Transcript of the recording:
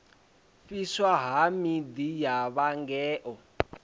fhiswa ha miḓi ya vhangona